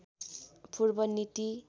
पूर्व नीति